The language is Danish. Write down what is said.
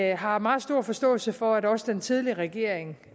jeg har meget stor forståelse for at også den tidligere regering